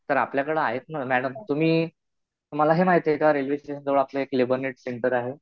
तर आपल्याकडं आहेत ना मॅडम. तुम्ही तुम्हाला हे माहितीये का रेल्वे स्टेशन जवळ आपलं एक लेबरनेंट सेंटर आहे.